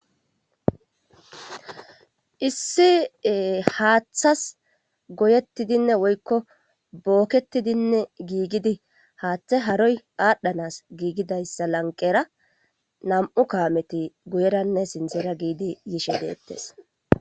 issi haaththas goyettidinne woykko bookketidinne giigidi haaththe haroy aadhdhanas giigidayssa lanqera nam7u kaameti guyeranne sinzera giidi yishe deettes